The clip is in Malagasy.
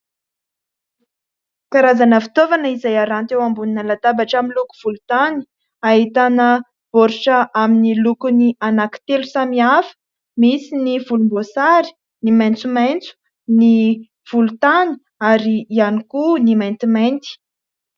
Karazana fitaovana izay aranty eo ambonina latabatra miloko volontany. Ahitana baoritra amin'ny lokony anankitelo samy hafa, misy ny volombasary, ny maitsomaitso, ny volontany ary ihany koa ny maintimanity.